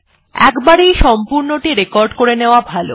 একবারেই সম্পূর্ণটি রেকর্ড করে নেওয়া ভালো